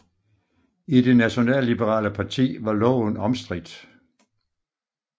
I det nationalliberale parti var loven omstridt